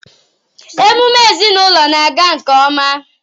emume ezinụlọ na-aga nke ọma.